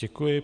Děkuji.